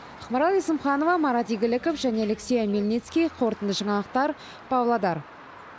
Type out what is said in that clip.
ақмарал есімханова марат игіліков және алексей омельницкий қорытынды жаңалықтар павлодар